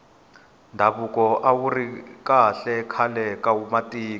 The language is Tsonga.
ndhavuko awuri kahle khale ka matiko